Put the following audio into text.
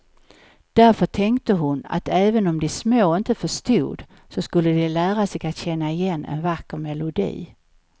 Därför tänkte hon att även om de små inte förstod, så skulle de lära sig att känna igen en vacker melodi.